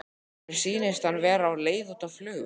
Mér sýnist hann vera á leið út á flugvöll.